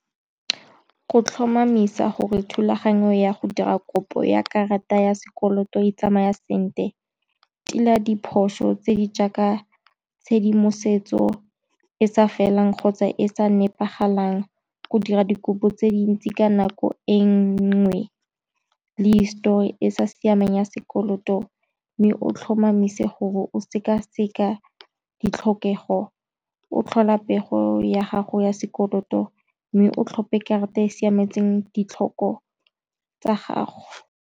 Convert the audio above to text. Go tlhomamisa gore thulaganyo ya go dira kopo ya karata ya sekoloto e tsamaya sentle, tila diphoso tse di jaaka tshedimosetso e sa felang kgotsa e sa nepagalang go dira dikopo tse dintsi ka nako e nngwe, le histori e sa siamang ya sekoloto, mme o tlhomamise gore o sekaseka ditlhokego o tlhola pego ya gago ya sekoloto, mme o tlhophe karata e siametseng ditlhoko tsa gago.